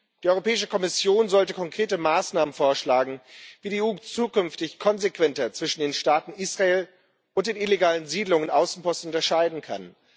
Die Europäische Kommission sollte konkrete Maßnahmen vorschlagen, wie die EU zukünftig konsequenter zwischen dem Staat Israel und den illegalen Siedlungsaußenposten unterscheiden kann.